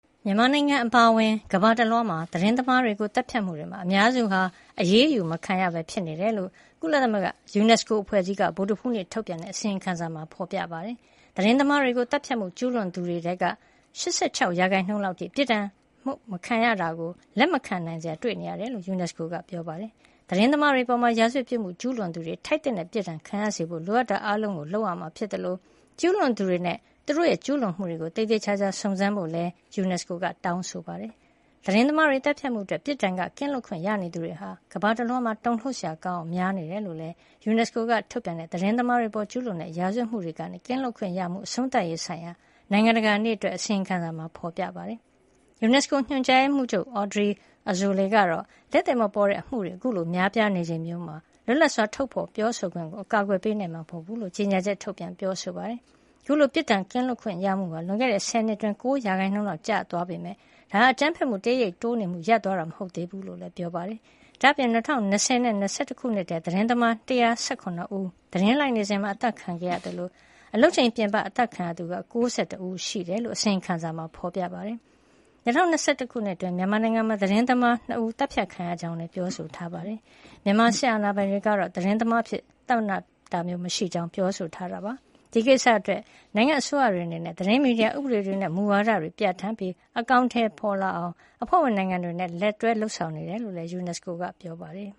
မြန်မာနိုင်ငံ အပါအဝင် ကမ္ဘာတလွှားမှာ သတင်းသမားတွေကို သတ်ဖြတ်မှုတွေမှာ အများစုဟာ အရေးယူမခံရပဲ ဖြစ်နေတယ်လို့ ကုလသမဂ္ဂ UNESCO ယူနက်စကိုအဖွဲ့ကြီးက ဗုဒ္ဓဟူးနေ့ ထုတ်ပြန်တဲ့ အစီရင်ခံစာမှာ ဖေါ်ပြထားပါတယ်။ သတင်းသမားတွေကို သတ်ဖြတ်မှုကျူးလွန်သူတွေထဲက ၈၆ ရာခိုင်နှုန်း လောက်အထိ ပြစ်ဒဏ်ခတ်မှု မခံရတာကို လက်မခံနိုင်စရာ တွေ့နေရတယ်လို့ ယူနက်စကိုက ပြောပါတယ်။ သတင်းသမားတွေအပေါ် ရာဇဝတ်ပြစ်မှု ကျူးလွန်သူတွေ ထိုက်သင့်တဲ့ ပြစ်ဒဏ်ရခံရစေဖို့ လိုအပ်တာအားလုံး လုပ်ဆောင်ရမှာ ဖြစ်သလို ကျူးလွန်သူတွေနဲ့ သူတို့ကျူးလွန်မှုတွေကို သေသေချာချာ စုံစမ်းဖို့လည်း ယူနက်စကိုက တောင်းဆိုလိုက်ပါတယ်။ သတင်းသမားတွေ သတ်ဖြတ်မှုအတွက် ပြစ်ဒဏ်ကနေ ကင်းလွတ်ခွင့်ရနေသူဟာ ကမ္ဘာတလွှားမှာ တုန်လှုပ်စရာကောင်းအောင် များပြားနေတယ်လို့လည်း ယူနက်စကိုက ထုတ်ပြန်တဲ့ သတင်းသမားတွေအပေါ်ကျူးလွန်တဲ့ ရာဇဝတ်မှုတွေကနေ ကင်းလွတ်ခွင့်ရမှု အဆုံးသတ်ရေးဆိုင်ရာ နိုင်ငံတကာနေ့ အတွက် အစီရင်ခံစာမှာ ဖေါ်ပြထားပါတယ်။ ယူနက်စကို ညွှန်ကြားရေးမှုးချုပ် Audrey Azoulay ကတော့ လက်သည်မပေါ်တဲ့ အမှုတွေ အခုလို များပြားနေချိန်မျိုးမှာ လွတ်လပ်စွာ ထုတ်ဖေါ်ပြောဆိုခွင့်ကို အကာကွယ်ပေးနိုင်မှာ မဟုတ်ဘူးလို့ ကြေညာချက် ထုတ်ပြန်ပြောဆိုပါတယ်။ အခုလို ပြစ်ဒဏ်ကကင်းလွတ်ခွင့်ရမှုဟာ လွန်ခဲ့တဲ့ ဆယ်နှစ်အတွင်း ၉ % လောက် ကျဆင်းသွားပေမယ့် ဒါဟာ အကြမ်းဖက်မှု တရိပ်ရိပ် တိုးနေမှု ရပ်သွားတာ မဟုတ်သေးဘူးလို့လည်း ပြောပါတယ်။ ဒါ့အပြင် ၂၀၂၀ နဲ့ ၂၀၂၁ ခုနှစ်ထဲမှာ သတင်းသမား ၁၁၇ ဦး သတင်းလိုက်နေစဉ် အသတ်ခံခဲ့ရသလို အလုပ်ချိန်ပြင်ပမှာ အသတ်ခံရသူက ၉၁ ဦး ရှိတယ်လို့ အစီရင်ခံစာမှာဖေါ်ပြပါတယ်။ ၂၀၂၁ ခုနှစ်အတွင်း မြန်မာနိုင်ငံမှာ သတင်းသမား ၂ ဦး သတ်ဖြတ်ခံခဲ့ရကြောင်းလည်း ပြောဆိုထားတာပါ။ မြန်မာစစ်အာဏာပိုင်တွေကတော့ သတင်းသမားအဖြစ် ပစ်မှတ်ထားတာမျိုး မရှိကြောင်း ပြောဆိုထားပါတယ်။ ဒီကိစ္စအတွက် နိုင်ငံအစိုးရတွေအနေနဲ့ သတင်းမီဒီယာ ဥပဒေတွေ နဲ့ မူဝါဒတွေကို ပြဌာန်းပြီး အကောင်ထည် ဖေါ်လာအောင် အဖွဲ့ဝင်နိုင်ငံတွေနဲ့ လက်တွဲ လုပ်ဆောင်နေတယ်လို့လည်း UNESCO က ပြောပါတယ်